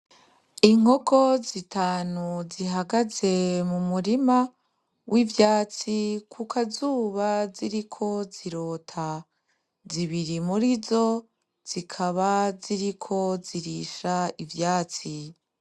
Inkoko zitanu zihagaze mu murima w'ivyatsi kukazuba ziriko zirota, zibiri murizo zikaba ziriko zirisha ivyatsi.